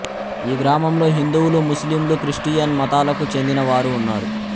ఈ గ్రామంలో హిందువులు ముస్లింలు క్రిస్టియన్ మతాలకు చెందిన వారు ఉన్నారు